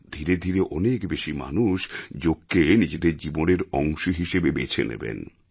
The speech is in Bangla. ধীরে ধীরে অনেক বেশি মানুষ যোগকে নিজেদের জীবনের অংশ হিসেবে বেছে নেবেন